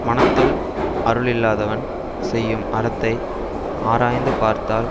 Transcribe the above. மனத்துள் அருள் இல்லாதவன் செய்யும் அறத்தை ஆராய்ந்து பார்த்தால்